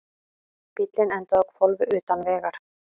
Bíllinn endaði á hvolfi utan vegar